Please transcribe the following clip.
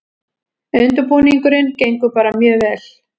Undirbúningurinn gengur bara mjög vel